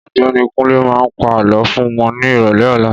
Ọ̀gbẹ́ni Kunle má pa Àlọ́ fún wọn ní ìrọ̀lẹ́ ọlá